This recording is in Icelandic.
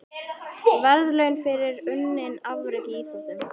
Verðlaun fyrir unnin afrek í íþróttum.